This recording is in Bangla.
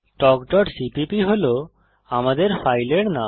talkসিপিপি হল আমাদের ফাইলের নাম